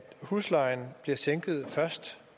huslejen bliver sænket først